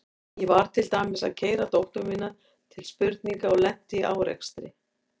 Ég var til dæmis að keyra dóttur mína til spurninga og lenti í árekstri.